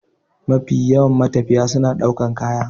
Mafiya yawan matafiya suna ɗaukan kaya.